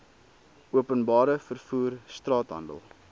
openbare vervoer straathandel